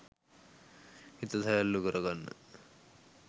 හිත සැහැල්ලු කර ගන්න.